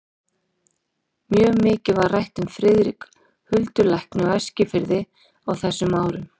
Mjög mikið var rætt um Friðrik huldulækni á Eskifirði á þessum árum.